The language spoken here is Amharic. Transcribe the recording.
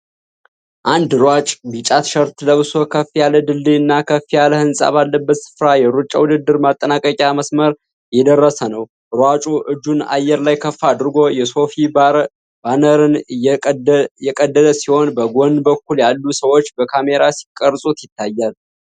አንድ ሯጭ ቢጫ ቲሸርት ለብሶ ከፍ ያለ ድልድይናከፍ ያለ ህንጻ ባለበት ስፍራ የሩጫ ውድድር ማጠናቀቂያ መስመር እየደረሰ ነው። ሯጩ እጁን አየር ላይ ከፍ አድርጎ የሶፊ ባነርን እየቀደደ ሲሆን፣ በጎን በኩል ያሉ ሰዎች በካሜራ ሲቀርጹት ይታያል።